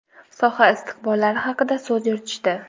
soha istiqbollari haqida so‘z yuritishdi.